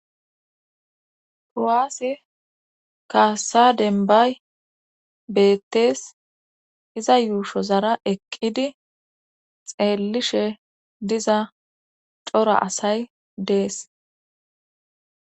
Kuwaase kaasa denbay beettes iza yuusho zara eqqidi xeellishe diza cora asay dees.